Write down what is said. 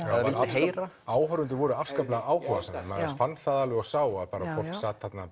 heyra áhorfendur voru afskaplega áhugasamir maður fann það alveg og sá að fólk sat þarna